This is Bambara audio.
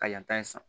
Ka yanta in san